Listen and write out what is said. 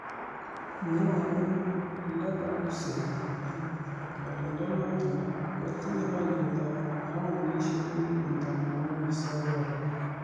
Mwaei Leverkusen kole kotioriendenoto kotinye olietab paundisiek million tamanwokik sokol.